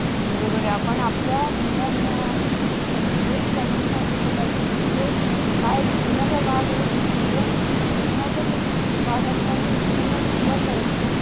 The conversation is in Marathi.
बरोबर ,आपण आपल्या मुलांना हेच कमी सांगितलं पाहिजे की हे हा एक जीवनाचा भाग आहे जीवन जीवनाचाच एक भाग असल्याने पूर्ण जीवन नाही